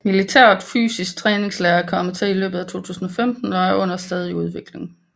Militær Fysisk Træningslære er kommet til i løbet af 2015 og er under stadig udvikling